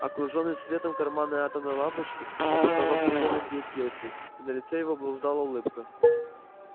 окружённый светом карманной атомной лампочки он продолжал спокойно сидеть в кресле и на лице его блуждала улыбка